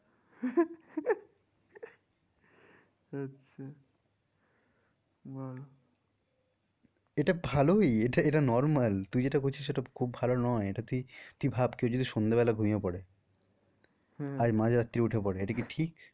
আচ্ছা ভালো এটা ভালোই এটা normal তুই যেটা করছিস সেটা খুব ভালো নয় এটা তুই, তুই ভাব কেউ যদি সন্ধে বেলা ঘুমিয়ে পরে আর মাঝ রাত্রিরে উঠে পরে এটা কি ঠিক?